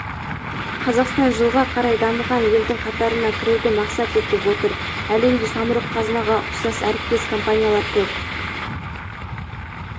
қазақстан жылға қарай дамыған елдің қатарына кіруді мақсат етіп отыр әлемде самұрық-қазынаға ұқсас әріптес компаниялар көп